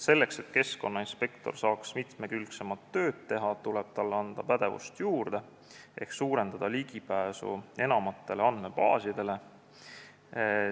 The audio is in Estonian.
Selleks et keskkonnainspektor saaks mitmekülgsemat tööd teha, tuleb talle pädevust juurde anda ehk parandada ligipääsu andmebaasidele.